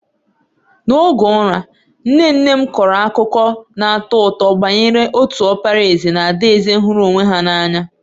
N'oge ụra, nne nne m kọrọ akụkọ na-atọ ụtọ banyere otu ọkpara eze na adaeze hụrụ onwe ha n’anya.